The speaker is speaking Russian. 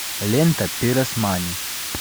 лента пиросмани